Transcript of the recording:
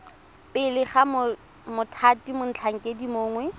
pele ga mothati motlhankedi mongwe